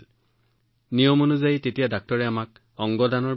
তেতিয়া চিকিৎসকে আমাক অংগ দানৰ বিষয়ে প্ৰটোকলৰ সৈতে অৱগত কৰিছিল